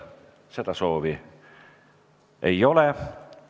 Seda soovi ei ole.